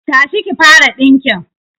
Tashi ki fara dinkin